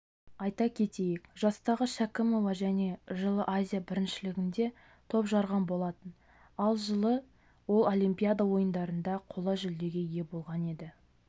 айта кетейік жастағы шәкімова және жылы азия біріншілігінде топ жарған болатын ал жылы ол олимпиада ойындарында қола жүлдеге ие болған еді